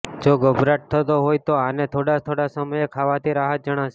જો ગભરાટ થતો હોય તો આને થોડાં થોડાં સમયે ખાવાથી રાહત જણાશે